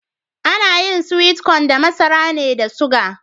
Ana yin (sweet cone) da masara ne da suga.